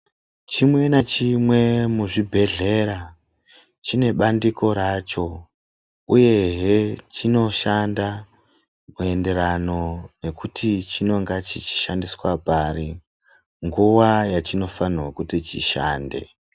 Chimwe nachimwe muzvibhedhlera chine bandiko racho uyehe chinoshando muenderano nekuti chinonga chichishandiswa pari nguwa yachinofanirwa kuti chishande.